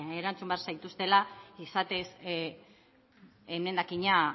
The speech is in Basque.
erantzun behar zaituztela izatez emendakina